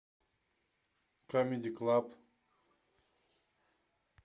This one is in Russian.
камеди клаб